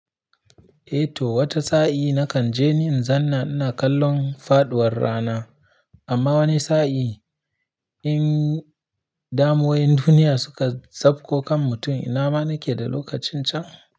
Eh to wata sa'i nakan je ni in zanna ina kallon faɗuwar rana, amma wani sa'i in damuwoyin duniya suka sabko kan mutum, ina ma nake da lokacin can.